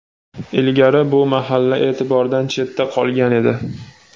Ilgari bu mahalla e’tibordan chetda qolgan edi.